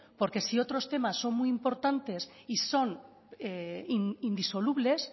porque si otros temas son muy importantes y son indisolubles